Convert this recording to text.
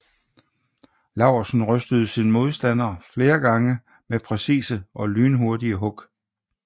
Laursen rystede sin modstander flere gange med præcise og lynhurtige hug